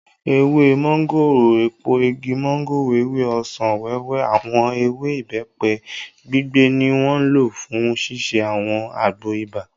Ewé mọ́ngòrò, èpo igi mọ́ngòrò, ewé ọsàn-wẹ́wẹ́, àwọn ewé ìbẹ́pẹ gbígbẹ ni wọ́n lò fún ṣíṣe àwọn àgbo ibà